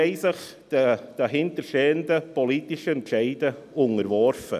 Sie haben sich den dahinterstehenden politischen Entscheiden unterworfen.